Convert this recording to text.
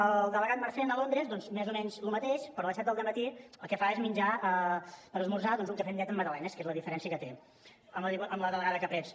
el delegat marcén a londres doncs més o menys el mateix però a les set del dematí el que fa és menjar per esmorzar doncs un cafè amb llet amb magdalenes que és la diferència que té amb la delegada kapretz